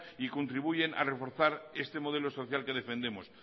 y contribuyen a reforzar este modelo social que defendemos